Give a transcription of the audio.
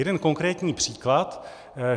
Jeden konkrétní příklad.